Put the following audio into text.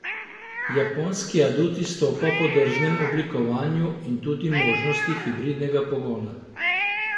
Japonski adut izstopa po drznem oblikovanju in tudi možnosti hibridnega pogona.